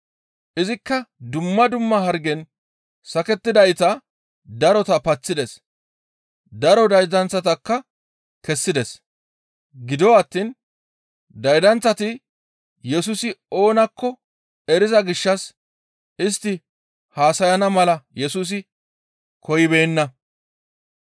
Izikka dumma dumma hargen sakettidayta darota paththides; daro daydanththatakka kessides; gido attiin daydanththati Yesusi oonakko eriza gishshas istti haasayana mala Yesusi koyibeenna.